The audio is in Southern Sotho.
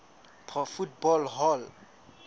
pro football hall